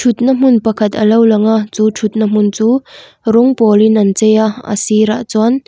thut na hmun pakhat alo lang a chu thut na hmun chu rawng pawl in an chei a a sirah chuan--